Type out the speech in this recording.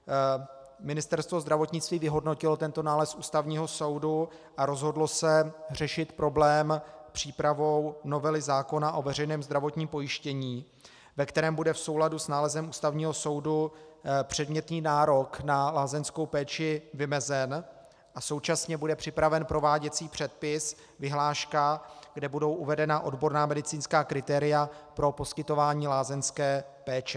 Ministerstvo zdravotnictví vyhodnotilo tento nález Ústavního soudu a rozhodlo se řešit problém přípravou novely zákona o veřejném zdravotním pojištění, ve kterém bude v souladu s nálezem Ústavního soudu předmětný nárok na lázeňskou péči vymezen, a současně bude připraven prováděcí předpis, vyhláška, kde budou uvedena odborná medicínská kritéria pro poskytování lázeňské péče.